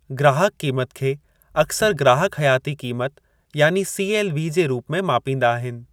ग्राहक क़ीमतु खे अक्सरि ग्राहक हयाती क़ीमत यानी सीएलवी जे रूप में मापींदा आहिनि।